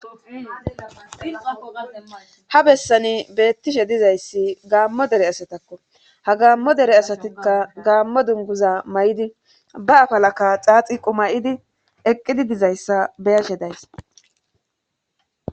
ha bessani beettishe dizayssi gaammo dere asatakko ha gaammo dere asatikka gaammo dunguza may7idi ba afalaka xaaxi qumayidi eqqidi dizayssa beyeshe days